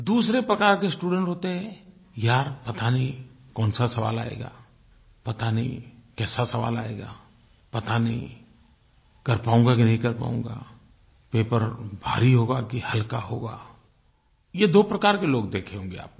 दूसरे प्रकार के स्टूडेंट होते हैं यार पता नहीं कौनसा सवाल आयेगा पता नहीं कैसा सवाल आयेगा पता नहीं कर पाऊंगा कि नहीं कर पाऊंगा पेपर भारी होगा कि हल्का होगा ये दो प्रकार के लोग देखे होंगे आपने